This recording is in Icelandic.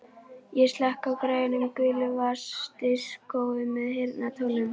Ég slekk á græjunum, gulu vasadiskói með heyrnartólum.